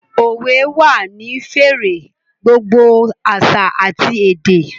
Òwe wà ní fẹ̀rẹ̀ gbogbo àṣà àti èdè